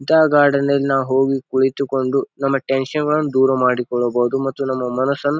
ಇಂತಾ ಗಾರ್ಡನ್ ನಲ್ ನಾವು ಹೋಗಿ ಕುಳಿತುಕೊಂಡು ನಮ್ಮ ಟೆನ್ಶನ್ ಗಳನ್ ದೂರ ಮಾಡಿಕೊಳ್ಳಬಹುದು ಮತ್ತು ನಮ್ಮ ಮನಸನ್ --